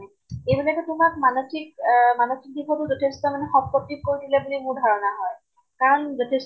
এইবিলাকে তোমাক মানষিক আ মানষিক দিশতো মানে যথেষ্ট মানে কৰি দিলে বোলে মোৰ ধাৰণা হয় । কাৰণ যথেষ্ট